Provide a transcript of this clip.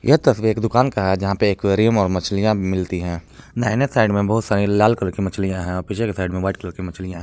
यह तस्वीर एक दुकान का है जहां पे गरीम और मछलियां मिलती है दाहिने साइड में बहोत सारी लाल कलर की मछलियां है पीछे के साइड में व्हाइट कलर की मछलियां--